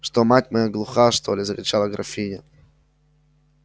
что мать моя глуха что ли закричала графиня